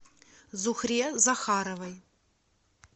зухре захаровой